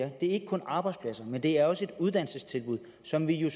er ikke kun arbejdspladser men det er også et uddannelsestilbud som vi jo